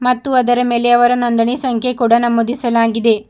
ಮತ್ತು ಅದರ ಮೇಲೆ ಅವರ ನೊಂದಣಿ ಸಂಖ್ಯೆ ಕೂಡ ನಮೂದಿಸಲಾಗಿದೆ.